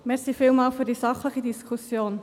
Vielen Dank für diese sachliche Diskussion.